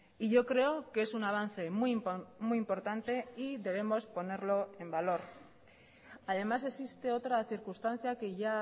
y yo creo que es un avance muy importante y debemos ponerlo en valor además existe otra circunstancia que ya